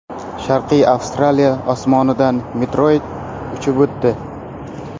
Sharqiy Avstraliya osmonidan meteorit uchib o‘tdi.